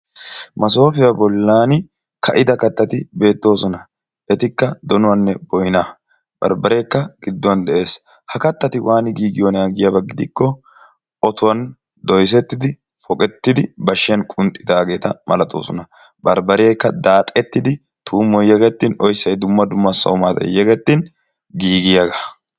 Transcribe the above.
Masoofiya bolaani ka'ida kattatti beetoosona. etikka donuwanne boynaa. ha katatti waani ka'iyoona giikko oyssay yegettin maanaassi giigiyaaga.